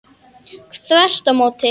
Þvert á móti!